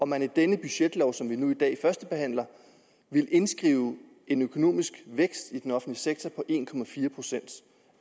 man i den budgetlov som vi nu i dag førstebehandler ville indskrive en økonomisk vækst i den offentlige sektor på en procent